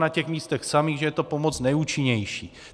Na těch místech samých že je to pomoc nejúčinnější.